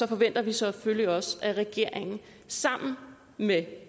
forventer vi selvfølgelig også at regeringen sammen med